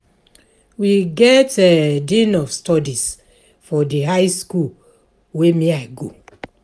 We get dean of studies for di high skool wey I go.